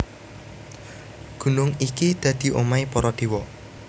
Gunung iki dadi omahé para déwa